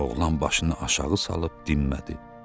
Oğlan başını aşağı salıb dinmədi.